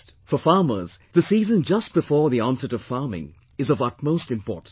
For farmers, the season just before onset of farming is of utmost importance